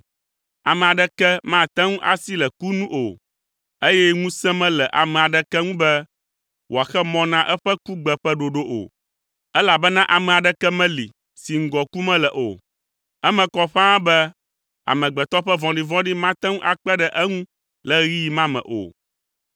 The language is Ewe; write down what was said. Ame aɖeke mate ŋu asi le ku nu o eye ŋusẽ mele ame aɖeke ŋu be wòaxe mɔ na eƒe kugbe ƒe ɖoɖo o, elabena ame aɖeke meli si ŋgɔ ku mele o. Eme kɔ ƒãa be amegbetɔ ƒe vɔ̃ɖivɔ̃ɖi mate ŋu akpe ɖe eŋu le ɣeyiɣi ma me o.